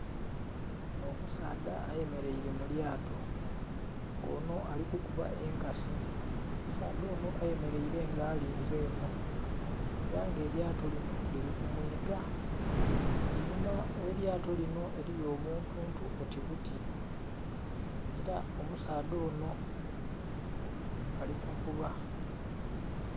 Ono omusaadha ayemeraire mulyato nga ono alikukuba enkasi, omusaadha ono ayambaire nga alinze eno era nga elyato lino liri kumwiiga einhuma welyato lino eriyo obuntu oti buti era omusaadha ono alikuvuba.